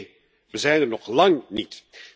Nee, we zijn er nog lang niet.